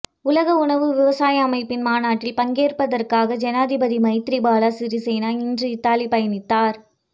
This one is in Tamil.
உலக உணவு விவசாய அமைப்பின் மாநாட்டில் பங்கேட்பதற்காக ஜனாதிபதி மைத்திரிபால சிறிசேன இன்று இத்தாலி பயணித்தார்